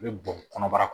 U bɛ bɔn kɔnɔbara kɔnɔ